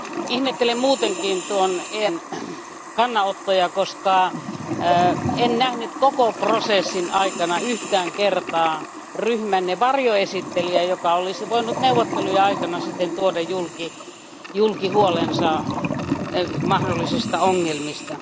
Ihmettelin muutenkin EFDD ryhmän kannanottoja, koska en nähnyt koko prosessin aikana yhtään kertaa ryhmänne varjoesittelijää, joka olisi voinut neuvottelujen aikana tuoda julki huolensa mahdollisista ongelmista.